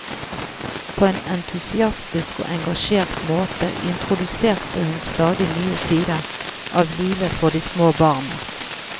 På en entusiastisk og engasjert måte introduserte hun stadig nye sider av livet for de små barna.